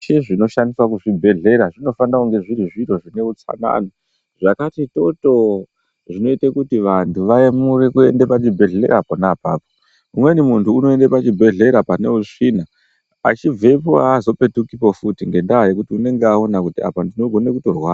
Zvese zvinoshandiswa kuzvibhedhlera zvinofanira kunge zviri zviro zvineutsanana zvakati totoo. Zvinoite kuti vantu van'ore kuenda pachibhedhlera pona apapo. Umweni muntu unoende pachibhedhlera paneusvina achibvepo haazopetukipo futi ngendaa yekuti unonge aona kuti apa ndinogona kutorwara.